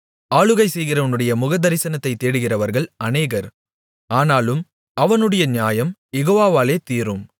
ஆளுகை செய்கிறவனுடைய முகதரிசனத்தைத் தேடுகிறவர்கள் அநேகர் ஆனாலும் அவனவனுடைய நியாயம் யெகோவாவாலே தீரும்